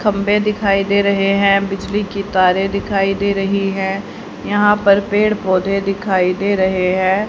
खंभे दिखाई दे रहे हैं बिजली की तारें दिखाई दे रही है यहां पर पेड़ पौधे दिखाई दे रहे है।